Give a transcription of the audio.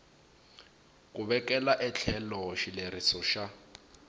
ku vekela etlhelo xileriso xa